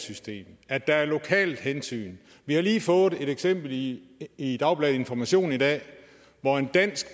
system og at der er lokale hensyn vi har lige fået et eksempel i i dagbladet information i dag hvor en dansk